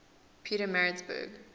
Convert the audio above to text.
pietermaritzburg